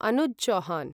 Anuj Chauhan